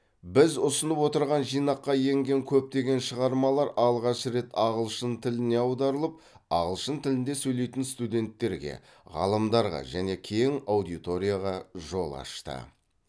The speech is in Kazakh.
біз ұсынып отырған жинаққа енген көптеген шығармалар алғаш рет ағылшын тіліне аударылып ағылшын тілінде сөйлейтін студенттерге ғалымдарға және кең аудиторияға жол ашты